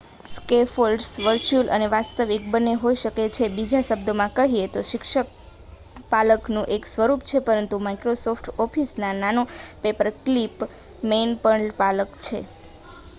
scaffolds virtual અને વાસ્તવિક બંને હોઈ શકે છે બીજા શબ્દોમાં કહીએ તો શિક્ષક પાલખનું એક સ્વરૂપ છે પરંતુ માઇક્રોસોફ્ટ ઓફિસમાં નાનો પેપરક્લિપ મેન પણ પાલખ છે